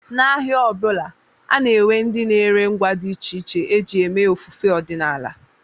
N'ahịa ọ bụla, a na-enwe ndị na-ere ngwa dị iche iche e ji eme ofufe ọdịnala